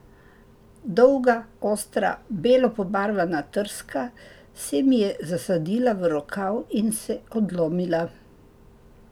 Dolga, ostra, belo pobarvana trska se mi je zasadila v rokav in se odlomila.